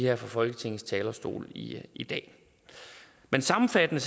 her fra folketingets talerstol i i dag men sammenfattende